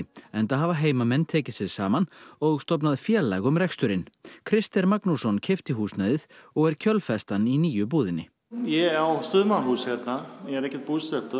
enda hafa heimamenn tekið sig saman og stofnað félag um reksturinn Krister Magnússon keypti húsnæðið og er kjölfestan í nýju búðinni ég á sumarhús hérna ég er ekki búsettur